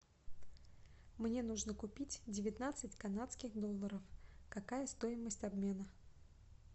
мне нужно купить девятнадцать канадских долларов какая стоимость обмена